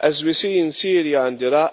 As we see in Syria and Iraq,